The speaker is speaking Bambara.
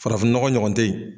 Farafin nɔgɔ ɲɔgɔn tɛ yen.